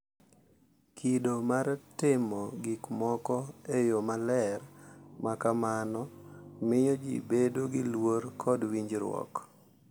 Kido mar timo gik moko e yo maler ma kamano miyo ji bedo gi luor kod winjoruok,